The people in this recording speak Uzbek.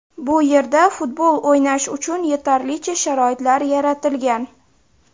Bu yerda futbol o‘ynash uchun yetarlicha sharoitlar yaratilgan.